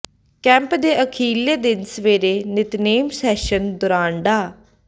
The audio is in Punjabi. ਕੈਂਪ ਦੇ ਅਖ਼ੀਰਲੇ ਦਿਨ ਸਵੇਰੇ ਨਿਤਨੇਮ ਸੈਸ਼ਨ ਦੌਰਾਨ ਡਾ